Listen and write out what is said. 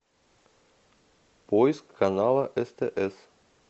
поиск канала стс